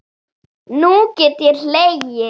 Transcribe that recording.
Nú get ég hlegið.